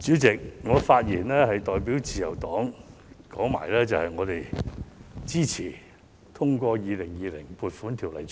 主席，我發言是代表自由黨表達我們支持通過《2020年撥款條例草案》。